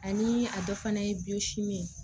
Ani a dɔ fana ye ye